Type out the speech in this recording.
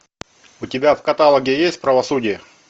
у тебя в каталоге есть правосудие